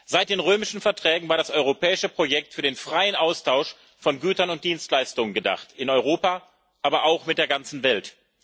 Seit den Römischen Verträgen war das europäische Projekt für den freien Austausch von Gütern und Dienstleistungen gedacht in Europa, aber auch mit der ganzen Welt.